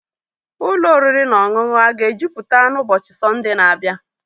Ụlọ oriri na ọṅụṅụ a aga ejupụta n'ụbọchị Sọnde na-abịa?